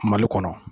Mali kɔnɔ